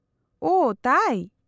-ᱳᱦᱚ ᱛᱟᱭ ?